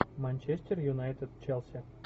манчестер юнайтед челси